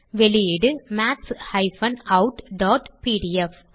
வெளியீடு maths outபிடிஎஃப்